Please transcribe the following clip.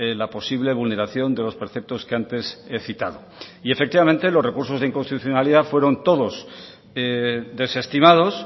la posible vulneración de los preceptos que antes he citado y efectivamente los recursos de inconstitucionalidad fueron todos desestimados